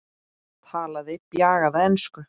Talaði bjagaða ensku